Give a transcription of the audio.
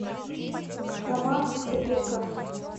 роман исабеков